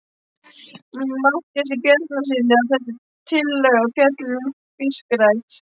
Matthíasi Bjarnasyni, að þessi tillaga fjalli um fiskrækt.